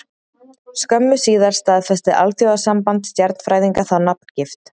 Skömmu síðar staðfesti Alþjóðasamband stjarnfræðinga þá nafngift.